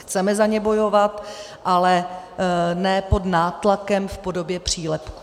Chceme za ně bojovat, ale ne pod nátlakem v podobě přílepku.